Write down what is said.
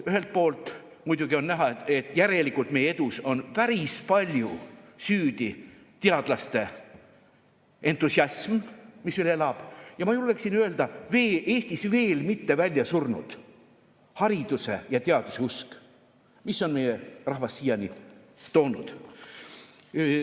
Ühelt poolt muidugi on näha, et järelikult meie edus on päris palju süüdi teadlaste entusiasm, mis elab, ja ma julgeksin veel öelda, et ka Eestis veel mitte väljasurnud hariduse ja teaduse usk, mis on meie rahva siiani toonud.